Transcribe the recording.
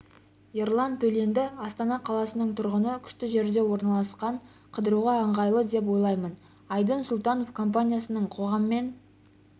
ерлан төленді астана қаласының тұрғыны күшті жерде орналасқан қыдыруға ыңғайлы деп ойлаймын айдын сұлтанов компаниясының қоғаммен